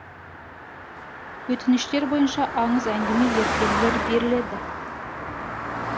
өтініштер бойынша аңыз әңгіме ертегілер беріледі